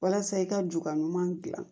Walasa i ka juga ɲuman dilan